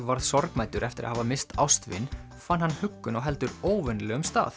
varð sorgmæddur eftir að hafa misst ástvin fann hann huggun á heldur óvenjulegum stað